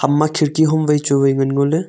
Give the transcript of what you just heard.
ama kherki hom wai chu wai ngan ngoley.